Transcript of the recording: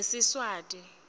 ngesiswati